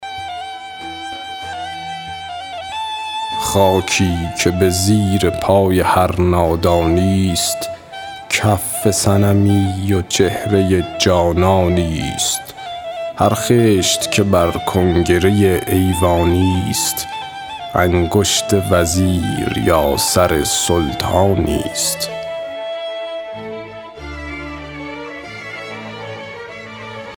خاکی که به زیر پای هر نادانی ست کف صنمی و چهره جانانی ست هر خشت که بر کنگره ایوانی ست انگشت وزیر یا سر سلطانی ست